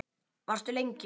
Varstu lengi?